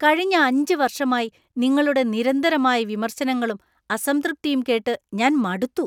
കഴിഞ്ഞ 5 വർഷമായി നിങ്ങളുടെ നിരന്തരമായ വിമർശനങ്ങളും, അസംതൃപ്തിയും കേട്ട് ഞാൻ മടുത്തു.